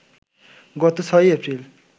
গত ৬ই এপ্রিল